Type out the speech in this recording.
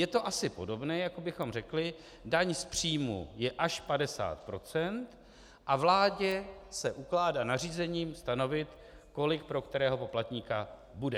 Je to asi podobné, jako bychom řekli: daň z příjmů je až 50 % a vládě se ukládá nařízením stanovit, kolik pro kterého poplatníka bude.